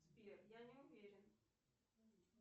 сбер я не уверен